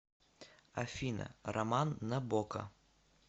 афина роман набока